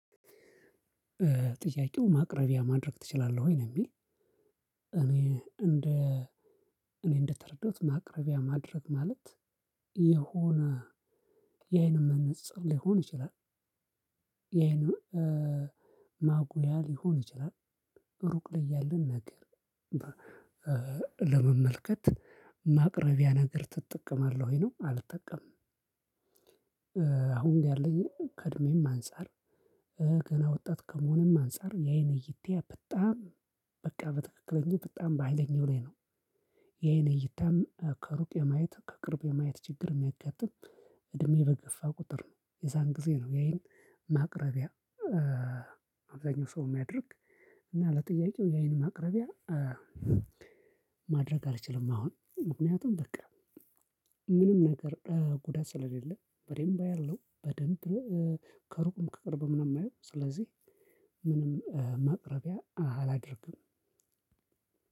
ጥያቄው ማቅረቢያ ማድረግ ትችላለህ ወይ? ነው የሚል እኔ እንደ እኔ እንደተረዳሁት ማቅረቢያ ማድረግ ማለት የሆነ የአይን መነፅር ሊሆን ይችላል፤ የአይን ማጉያ ሊሆን ይችላል፤ ሩቅ ላይ ያለን ነገር ለመመልከት ማቅረቢያ ነገር ትጠቀማለህ ወይ ነው? አልጠቀምም፤ አሁን ጋር ያለኝ ከእድሜም አንፃር ገና ወጣት ከመሆኑም አንፃር፤ የአይን እይታዬ በጣም በቃ በትክክለኛው በጣም በሃይለኛው ላይ ነው፤ የአይን እይታም ከሩቅ የማየት፤ ከቅርብ የማየት፤ ችግር የሚያጋጥም እድሜ በገፋ ቁጥር ነው የዛን ጊዜ ነው የአይን ማቅረቢያ። አብዛኛው ሰው የሚያድርግ እና ለጥያቄው ያይን ማቅረቢያ ማድረግ አልችልም አሁን፤ ምክንያቱም፣ በቃ ምንም ነገር ጉዳት ስለሌለ በደንብ አያለው፤ በደንብ ከሩቅም፣ ከቅርብም ነው የማየው፤ ስለዚህ ምንም መቅረቢያ አላደርግም፤